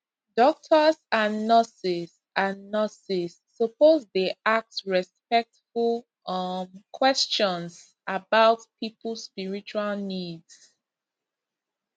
doctors and nurses and nurses suppose dey ask respectful um questions about people spiritual needs